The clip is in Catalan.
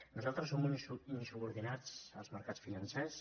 nosaltres som uns insubordinats als mercats financers